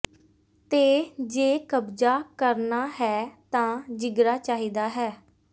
ਤੇ ਜੇ ਕਬਜ਼ਾ ਕਰਨਾ ਹੈ ਤਾਂ ਜਿਗਰਾ ਚਾਹੀਦਾ ਹੈ